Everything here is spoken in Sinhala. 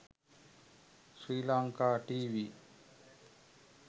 sri lanka tv